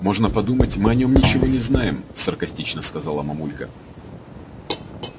можно подумать мы о нём ничего не знаем саркастично сказала мамулька